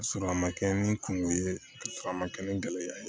Ka sɔrɔ a ma kɛ ni kungo ye ka sɔrɔ a ma kɛ ni gɛlɛya ye